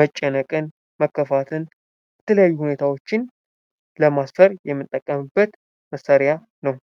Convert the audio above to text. መጨነቅን ፣ መከፋትን እና የተለያዩ ሁኒታዎችን ለማስፈር የምንጠቀምበት መሳሪያ ነው።